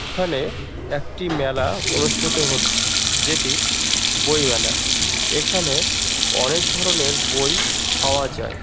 এইখানে একটি মেলা অনুষ্ঠিত হয়েছে যেটি বই মেলা এইখানে অনেক ধরণের বই পাওয়া যাই।